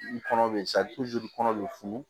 N kɔnɔ be sa kɔnɔ be funu